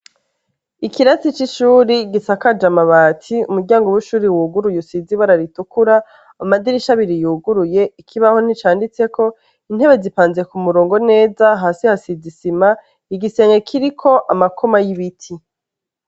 Ikirasi c' ishure gisakaje amabati umuryango w' ishuri wuguruye usize ibara ritukura amadirisha abiri yuguruye ikibaho nticanditseko intebe zipanze kumurongo neza hasi hasize isima igisenge kiriko amakoma y' ibiti.